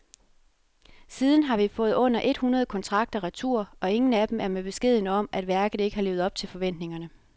Siden har vi fået under et hundrede kontrakter retur, og ingen af dem er med beskeden om, at værket ikke har levet op til forventningerne.